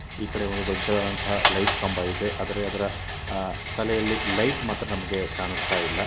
ಈ ಕಡೆ ಒಂದು ದೊಡ್ಡದಾದಂತ ಲೈಟ್ ಕಂಬ ಇದೆ ಅದರ ಎದುರು ತಲೆಯಲ್ಲಿ ಲೈಟ್ ಮಾತ್ರ ನಮಗೆ ಕಾಣಿಸ್ತಾ ಇಲ್ಲ.